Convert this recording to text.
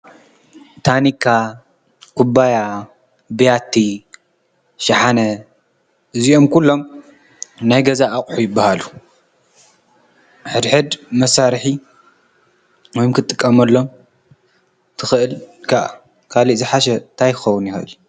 ታኒካ ፣ኩባያ፣ ብያቲ፣ ሽሓነ እዚኦም ኩሎም ናይ ገዛ ኣቁሑ ይበሃሉ። ሕድ ሕድ መሳርሒ ክትጥቀመሎም ትክእል ከዓ ካሊእ ዝሓሸ እንታይ ክኸውን ይክእል?